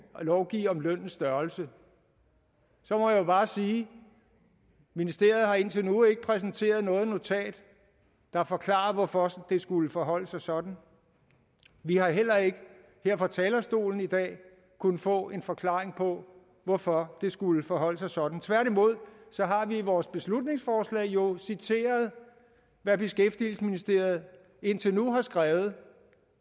lovgive om lønnens størrelse så må jeg bare sige at ministeriet indtil nu ikke har præsenteret noget notat der forklarer hvorfor det skulle forholde sig sådan vi har heller ikke her fra talerstolen i dag kunnet få en forklaring på hvorfor det skulle forholde sig sådan tværtimod har vi i vores beslutningsforslag jo citeret hvad beskæftigelsesministeriet indtil nu har skrevet